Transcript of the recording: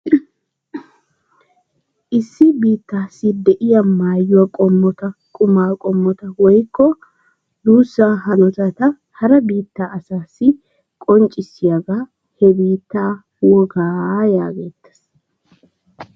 Issi biittaassi de'iya maayuwa qommota, qummaa qommota woykko duussaa hanotata hara biittaa asaassi qonccissiyagaa he biittaa wogaa yaagettees.